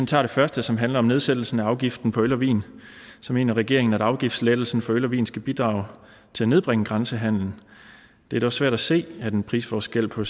tager det første som handler om nedsættelsen af afgiften på øl og vin mener regeringen at afgiftslettelsen på øl og vin skal bidrage til at nedbringe grænsehandelen det er dog svært at se at en prisforskel på